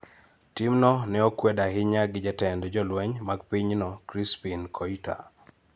Timno ne okwed ahinya gi jatend jolweny mag pinyno, Crispine Koita.